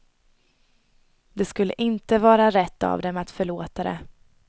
Det skulle inte vara rätt av dem att förlåta det.